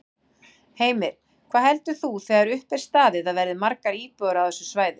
Heimir: Hvað heldur þú þegar upp er staðið að verði margar íbúðir á þessu svæði?